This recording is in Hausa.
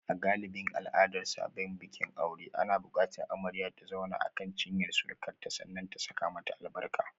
A galibin al'adar sabbin bikin aure na bukatar amarya ta zauna akan cinyar surukarta sannan ta saka mata albarka.